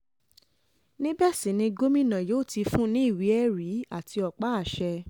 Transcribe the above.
níbẹ̀ sì ni gómìnà yóò ti fún un ní ìwé-ẹ̀rí àti ọ̀pá àṣẹ